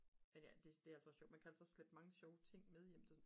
men ja det er også sjovt man kan altså også slæbe mange sjove ting med hjem til